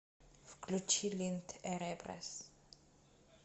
включи линд эреброс